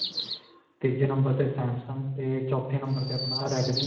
ਤੀਜੇ number ਤੇ samsung ਤੇ ਚੌਥੇ number ਤੇ ਆਪਣਾ redme.